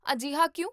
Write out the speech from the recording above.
ਅਜਿਹਾ ਕਿਉਂ?